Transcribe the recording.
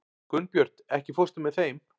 Gunnbjört, ekki fórstu með þeim?